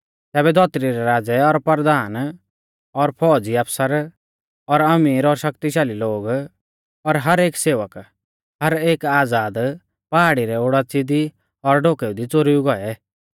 तैबै धौतरी रै राज़ै और परधान और फौज़ी आफसर और अमीर और शक्तिशाल़ी लोग और हर एक सेवक और हर एक आज़ाद पहाड़ी रै ओडाच़िऊ दी और डोकेऊ दी च़ोरुई गौऐ